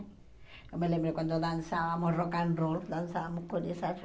Eu me lembro quando dançávamos rock and roll, dançávamos com essas